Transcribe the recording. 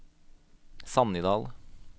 Sannidal